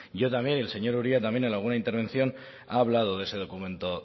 yo también y el señor uría también en alguna intervención ha hablado de ese documento